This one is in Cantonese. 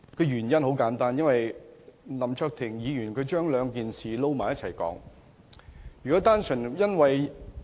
原因很簡單，因為林卓廷議員將兩件事混為一談。